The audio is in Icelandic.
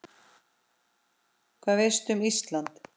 Hvað veistu um Ísland?